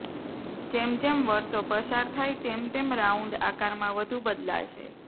જેમ જેમ વર્ષો પસાર થાય તેમ તેમ રાઉન્ડ આકારમાં વધુ બદલાશે